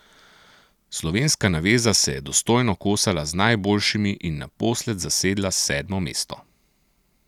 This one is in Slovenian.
Slovenska naveza se je dostojno kosala z najboljšimi in naposled zasedla sedmo mesto.